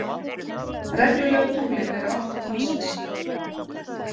Reglulegu tunglin eru átta talsins.